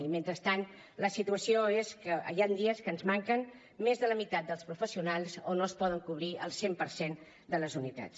i mentrestant la situació és que hi ha dies que ens manquen més de la meitat dels professionals o no es poden cobrir el cent per cent de les unitats